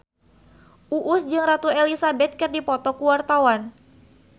Uus jeung Ratu Elizabeth keur dipoto ku wartawan